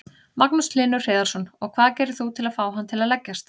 Magnús Hlynur Hreiðarsson: Og hvað gerir þú til að fá hann til að leggjast?